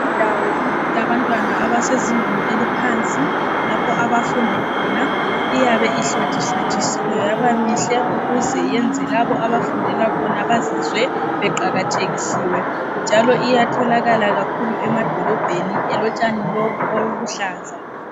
Indawo yabantwana abasezingeni eliphansi lapho abafunda khona iyabe ihlotshihlotshisiwe yaba mihle ukuze yenze labo abafundela khona bazizwe beqakathekisiwe. Njalo iyatholakala emadolobheni elotshani lobu obuluhlaza.